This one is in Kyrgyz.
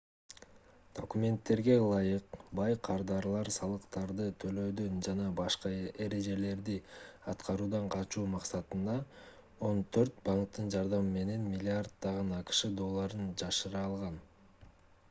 документтерге ылайык бай кардарлар салыктарды төлөөдөн жана башка эрежелерди аткаруудан качуу максатында он төрт банктын жардамы менен миллиарддаган акш долларын жашыра алган